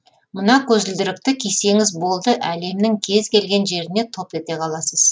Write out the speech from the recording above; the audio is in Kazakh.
мына көзілдірікті кисеңіз болды әлемнің кез келген жеріне топ ете қаласыз